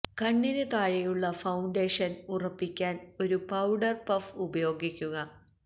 കണ്ണിന് താഴെയുള്ള ഫൌണ്ടേഷന് ഉറപ്പിക്കാന് ഒരു പൌഡര് പഫ് ഉപയോഗിക്കുക